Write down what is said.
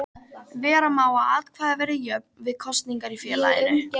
Vera má að atkvæði verði jöfn við kosningar í félaginu.